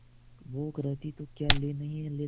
भूख रहती तो क्या ले नहीं लेता